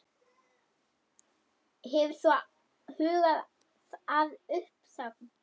Hefur þú hugað að uppsögn?